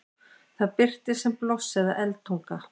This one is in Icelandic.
það birtist sem blossi eða eldtunga